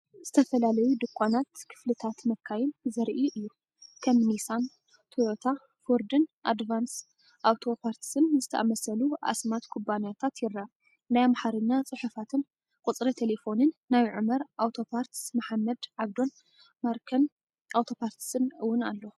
ዝተፈላለዩ ድኳናት ክፍልታት መካይን ዘርኢ እዩ። ከም ኒሳን፡ ቶዮታ፡ ፎርድን ኣድቫንስ ኣውቶ ፓርትስን ዝኣመሰሉ ኣስማት ኩባንያታት ይርአ። ናይ ኣምሓርኛ ጽሑፋትን ቁጽሪ ተሌፎንን ናይ ዑመር ኣውቶ ፓርትስ፣ መሓመድ ዓብዶን ማርከን ኣውቶ ፓርትስን እውን ኣሎ።